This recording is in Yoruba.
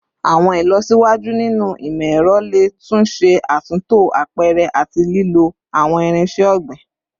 Awọn ilọsiwaju ninu imọ-ẹrọ le tun ṣe atunto apẹrẹ ati lilo awọn irinṣẹ ogbin